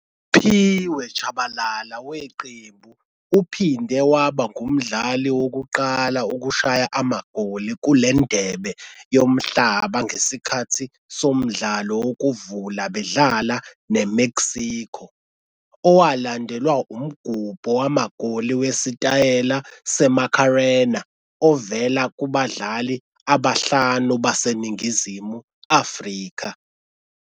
USiphiwe Tshabalala weqembu uphinde waba ngumdlali wokuqala ukushaya amagoli kule Ndebe Yomhlaba ngesikhathi somdlalo wokuvula bedlala neMexico, owalandelwa umgubho wamagoli wesitayela seMacarena ovela kubadlali abahlanu baseNingizimu Afrika.